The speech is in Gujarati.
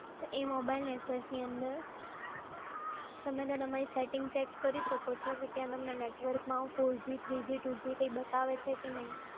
તો એ મોબાઇલ નેટવર્કની અંદર, તમે તમારી સેટિંગ ચેક કરી શકો છો. ત્યાં તમને નેટવર્કમાં four g three g two g કંઈ બતાવે છે કે નહીં.